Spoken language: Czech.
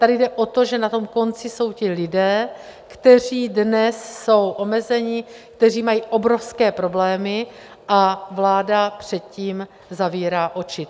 Tady jde o to, že na tom konci jsou lidé, kteří dnes jsou omezeni, kteří mají obrovské problémy a vláda před tím zavírá oči.